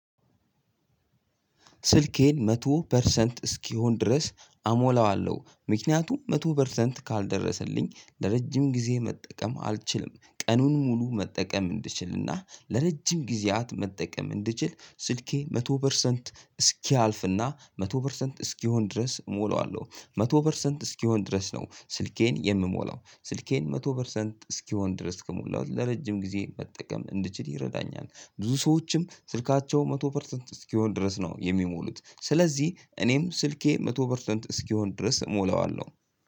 ስልኬን መቶ ፐርሰንት እስኪሆን ድረስ አሞላዋለው ምክንያቱም መቶ ፐርሰንት ካልደረሰልኝ ለረጅም ጊዜ መጠቀም አልችልም። ቀኑን ሙሉ መጠቀም እንድችልና ለረጅም ጊዜያት መጠቀም እንድችል ስልኬ መቶ ፐርሰንት እስኪያልፍና መቶ ፐርሰንት እስኪሆን ድረስ እሞላዋለሁ። መቶ ፐርሰንት እስኪሆን ድረስ ነው ስልኬን የምሞላው ስልኬን መቶ ፐርሰንት እስኪሆን ድረስ ከሞላው ለረጅም ጊዜ መጠቀም እንድችል ይረዳኛል። ብዙ ሰዎችም ስልካቸው መቶ ፐርሰንት እስኪሆን ድረስ ነው የሚሞሉት ስለዚህ እኔም ስልኬ መቶ ፐርሰንት እስኪሆን ድረስ እሞላዋለሁ።